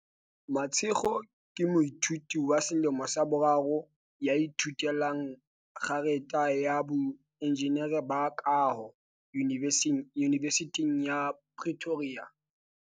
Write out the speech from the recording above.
Mashego ke moithuti wa selemo sa boraro ya ithute lang kgerata ya boenjinere ba kaho Yunivesithing ya Pretoria.